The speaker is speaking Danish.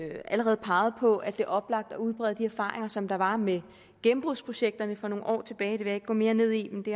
allerede peget på at det er oplagt at udbrede de erfaringer som der var med gennembrudsprojekterne for nogle år tilbage det vil jeg ikke gå mere ned i men det